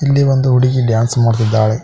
ಇಲ್ಲಿ ಒಂದು ಹುಡುಗಿ ಡ್ಯಾನ್ಸ್ ಮಾಡುತ್ತಿದ್ದಾಳೆ.